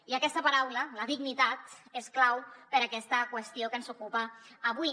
i aquesta paraula dignitat és clau per a aquesta qüestió que ens ocupa avui